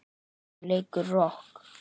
Hún leikur rokk.